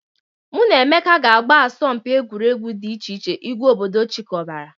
Mụ na Emeka ga-agba n'asọmpi egwuregwu dị iche iche ìgwè obodo chikọbara.